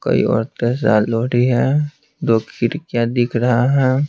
कई औरते सालोड़ी है दो खीर क्या दिख रहा है।